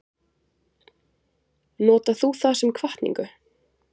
Notar þú það sem hvatningu?